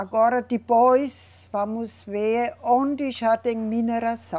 Agora, depois, vamos ver onde já tem mineração.